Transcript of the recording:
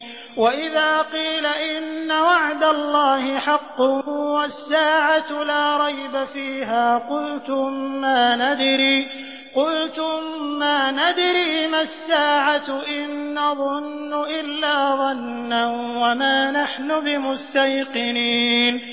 وَإِذَا قِيلَ إِنَّ وَعْدَ اللَّهِ حَقٌّ وَالسَّاعَةُ لَا رَيْبَ فِيهَا قُلْتُم مَّا نَدْرِي مَا السَّاعَةُ إِن نَّظُنُّ إِلَّا ظَنًّا وَمَا نَحْنُ بِمُسْتَيْقِنِينَ